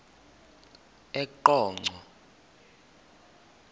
eqonco